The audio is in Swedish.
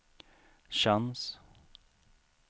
chans